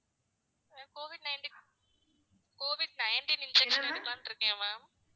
ma'am covid nineteen~ covid nineteen injection எடுக்கலான்ட்டு இருக்கேன் ma'am